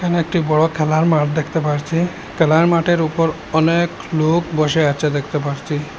এখানে একটি বড় খেলার মাঠ দেখতে পারছি খেলার মাঠের উপর অনেক লোক বসে আছে দেখতে পারচি।